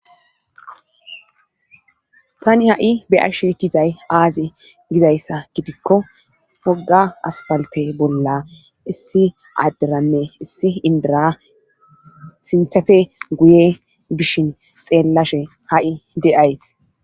tani ha7i beyashe dizay aazi gizayssa gidikko hoga aspalte bolla issi adderanne issi indira sinthefe guye bishin xeellashe ha7i de7ays